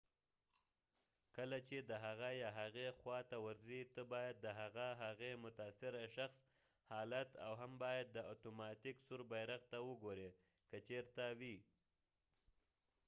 کله چې د هغه یا هغې خوا ته ورځی ته باید د هغه/هغې متاثره شخص حالت او هم باید د اتوماتیک سور بیرغ ته وګوری که چېرته وي